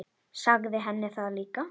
Sagði henni það líka.